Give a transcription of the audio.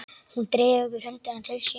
Hún dregur höndina til sín.